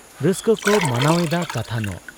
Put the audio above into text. ᱨᱟᱹᱥᱠᱟᱹᱠᱚ ᱢᱟᱱᱟᱣ ᱮᱫᱟ ᱠᱟᱛᱷᱟᱱᱚᱜ ᱾